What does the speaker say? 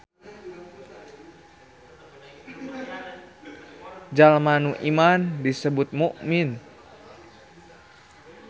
Jalma nu iman disebut mukmin.